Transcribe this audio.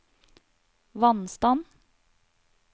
vannstand